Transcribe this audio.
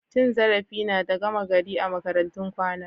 Cin zarafi na da gama gari a makarantun kwana.